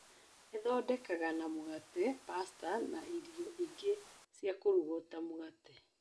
ĩthondekaga na mũgate ,pasta na irio ingĩ ciakũrugwo ta mũgate.